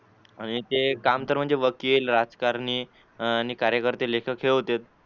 आणि ते काम तर म्हणजे वकील राजकारणी आणि कार्यकर्ते लेखक हे होतेत.